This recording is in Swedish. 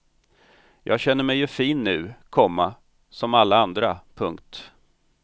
Jag känner mig ju fin nu, komma som alla andra. punkt